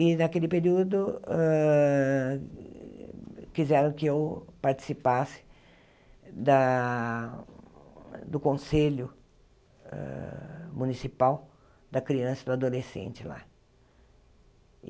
E, naquele período, hã quiseram que eu participasse da do Conselho Municipal da Criança e do Adolescente lá.